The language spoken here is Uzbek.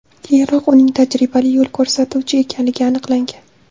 Keyinroq uning tajribali yo‘l ko‘rsatuvchi ekanligi aniqlangan.